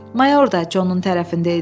Mayor da Conun tərəfində idi.